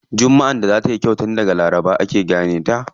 Jummaʼar da za tayi kyau tun daga laraba ake gane ta.